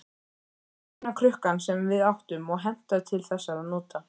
Eina krukkan sem við áttum og hentaði til þessara nota.